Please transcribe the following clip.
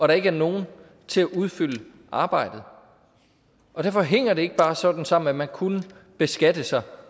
der ikke er nogen til at udfylde arbejdet derfor hænger det ikke bare sådan sammen at man kunne beskatte sig